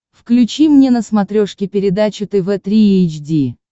включи мне на смотрешке передачу тв три эйч ди